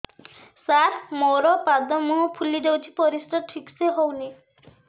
ସାର ମୋରୋ ପାଦ ମୁହଁ ଫୁଲିଯାଉଛି ପରିଶ୍ରା ଠିକ ସେ ହଉନି